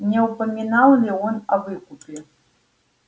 не упоминал ли он о выкупе